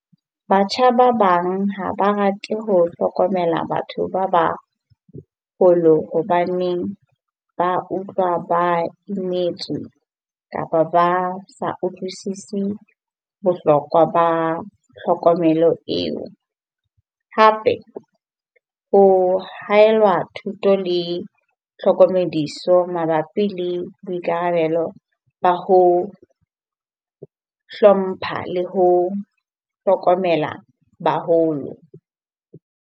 Batjha ba bang ha ba rate ho hlokomela batho ba bang hobaneng ba utlwa ba imetswe kapa ba sa utlwisisi bohlokwa ba tlhokomelo eo. Hape ho haelwa thuto le tlhokomediso mabapi le boikarabelo ba ho hlompha le ho hlokomela baholo.